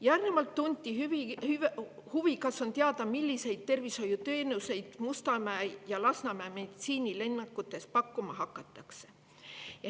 Järgnevalt tunti huvi, kas on teada, milliseid tervishoiuteenuseid Mustamäe ja Lasnamäe meditsiinilinnakutes pakkuma hakatakse.